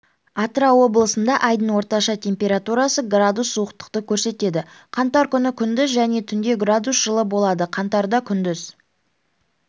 атырау облысында айдың орташа температурасы градус суықтықты көрсетеді қаңтар күні күндіз және түнде градус жылы болады қаңтарда күндіз